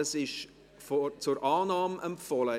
Es ist zur Annahme empfohlen.